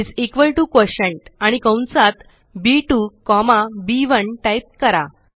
is equal to quotient आणि कंसात बी2 कॉमा B1टाइप करा